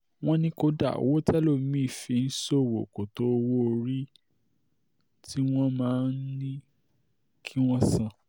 wọ́n ní kódà owó télòmí-ín fi ń ṣòwò kò tó owó-orí tí um wọ́n máa ń ní um kí wọ́n san